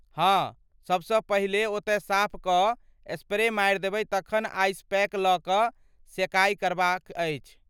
हाँ, सबसँ पहिले ओतय साफ कऽ स्प्रे मारि देबय तखन आइसपैक लऽ सेकाइ करबाक अछि।